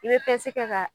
I bɛ pɛsɛ kɛ ka